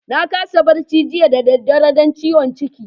Na kasa barci jiya da dare dan ciwon ciki.